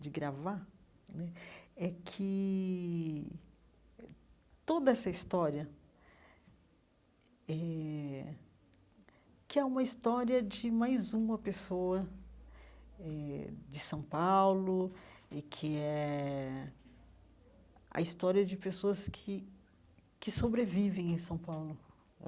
de gravar né, é que toda essa história eh, que é uma história de mais uma pessoa eh, de São Paulo, e que é a a história de pessoas que que sobrevivem em São Paulo.